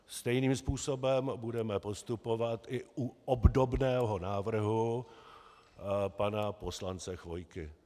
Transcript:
Stejným způsobem budeme postupovat i u obdobného návrhu pana poslance Chvojky.